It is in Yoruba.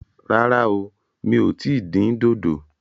Rárá o, mi ò tí ì dín dòdò